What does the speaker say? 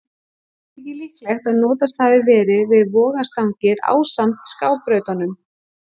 Einnig þykir líklegt að notast hafi verið við vogarstangir ásamt skábrautunum.